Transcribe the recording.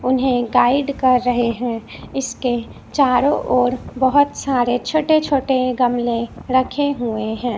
उन्हें गाइड कर रहे हैं इसके चारों ओर बहुत सारे छोटे छोटे गमले रखे हुए हैं।